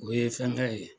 O ye fɛnkɛ ye